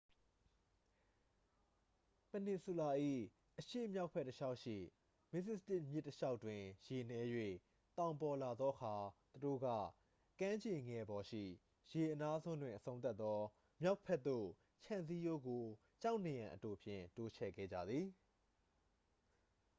ပင်နီဆူလာ၏ အရှေ့မြောက်ဘက် တစ်လျှောက်ရှိ မစ္စတစ်မြစ်တစ်လျှောက်တွင် ရေနည်း၍ သောင်ပေါ်လာသောအခါ သူတို့က ကမ်းခြေငယ်ပေါ်ရှိ ရေအနားစွန်းတွင် အဆုံးသတ်သော မြောက်ဘက်သို့ ခြံစည်းရိုးကို ကျောက်နံရံအတိုဖြင့် တိုးချဲ့ခဲ့ကြသည်